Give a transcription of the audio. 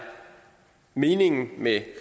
meningen med